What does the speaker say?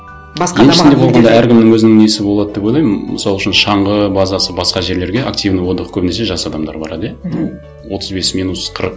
басқа әркімнің өзінің несі болады деп ойлаймын мысал үшін шаңғы базасы басқа жерлерге активный отдых көбінесе жас адамдар барады иә мхм ну отыз бес минус қырық